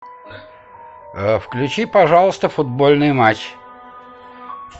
включи пожалуйста футбольный матч